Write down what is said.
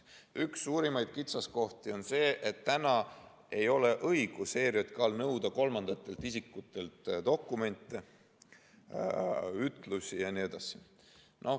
Üks suurimaid kitsaskohti on see, et ERJK‑l ei ole õigust nõuda kolmandatelt isikutelt dokumente, ütlusi jne.